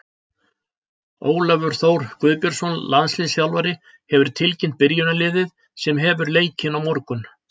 Ólafur Þór Guðbjörnsson, landsliðsþjálfari, hefur tilkynnt byrjunarliðið sem hefur leikinn á morgun.